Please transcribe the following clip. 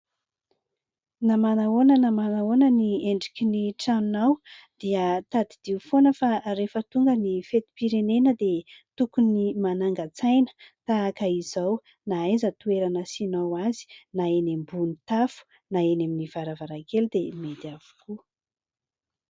Na manao ahoana na manao ahoana ny endriky ny tranonao dia tadidio foana fa rehefa tonga ny fetim-pirenena dia tokony manangan-tsaina tahaka izao. Na aiza toerana asianao azy na eny ambony tafo, na eny amin'ny varavarakely... dia mety avokoa.